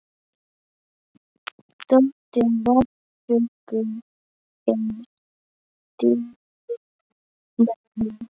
Dóttir Rebekku er Díana Marín.